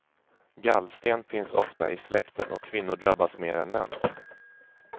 Gallsten finns ofta i släkten och kvinnor drabbas mer än män.